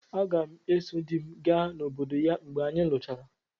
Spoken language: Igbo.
Aga m eso di m aga n'obodo ya mgbe anyị luchara.